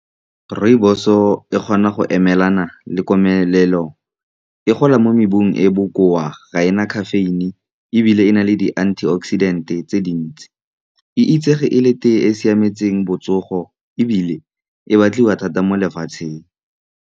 Rooibos-o e kgona go emelana le komelelo, e gola mo mebung e e bokoa, ga ena caffeine, ebile e na le di-antioxidant-e tse dintsi. E itsege e le tea e e siametseng botsogo, ebile e batliwa thata mo lefatsheng.